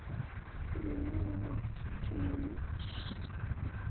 Mjólkin sigtuð frá.